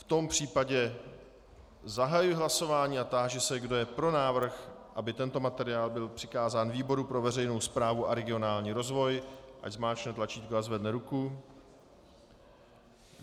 V tom případě zahajuji hlasování a táži se, kdo je pro návrh, aby tento materiál byl přikázán výboru pro veřejnou správu a regionální rozvoj, ať zmáčkne tlačítko a zvedne ruku.